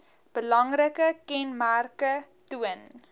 belangrike kenmerke toon